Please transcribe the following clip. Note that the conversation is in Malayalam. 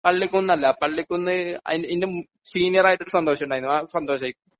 പള്ളിക്കുന്നല്ല പള്ളിക്കുന്ന് അതിന്റെ മുന് സീനിയർ ആയിട്ട് ഒരു സന്തോഷ് ഉണ്ടായിനു